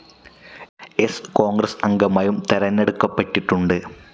സ്‌ കോൺഗ്രസ്‌ അംഗമായും തെരഞ്ഞെടുക്കപ്പെട്ടിട്ടുണ്ട്.